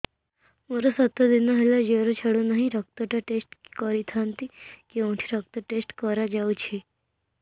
ମୋରୋ ସାତ ଦିନ ହେଲା ଜ୍ଵର ଛାଡୁନାହିଁ ରକ୍ତ ଟା ଟେଷ୍ଟ କରିଥାନ୍ତି କେଉଁଠି ରକ୍ତ ଟେଷ୍ଟ କରା ଯାଉଛି